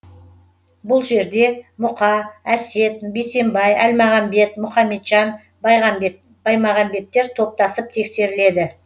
бұл жерде мұқа әсет бейсембай әлмағамбет мұқаметжан баймағамбеттер топтасып тексеріледі